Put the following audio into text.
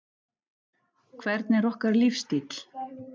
Hvernig er okkar lífsstíll?